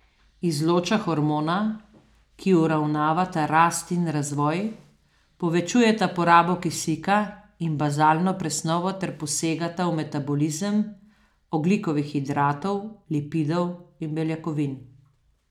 Izloča hormona, ki uravnavata rast in razvoj, povečujeta porabo kisika in bazalno presnovo ter posegata v metabolizem ogljikovih hidratov, lipidov in beljakovin.